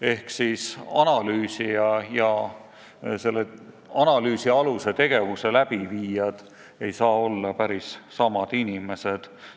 Ehk siis analüüsija ja analüüsi aluse tegijad ei saa olla päris samad inimesed.